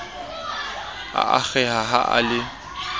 a akgeha ha a le